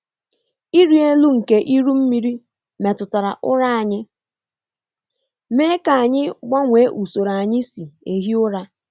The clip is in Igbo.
Ịrị elu nke iru mmiri metụtara ụra anyị, mee ka anyị gbanwee usoro anyị si ehi ụra.